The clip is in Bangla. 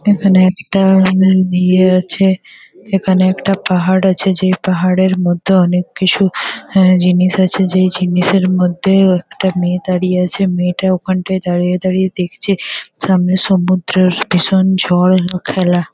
এখানে একটা উম ইয়ে আছে। এখানে একটা পাহাড় আছে যেই পাহাড়ের মধ্যে অনেক কিছু আ জিনিস আছে। যেই জিনিসের মধ্যেও একটা মেয়ে দাঁড়িয়ে আছে। মেয়েটা ওখানটায় দাঁড়িয়ে দাঁড়িয়ে দেখেছে সামনে সমুদ্রের ভীষণ ঝড় ও খেলা ।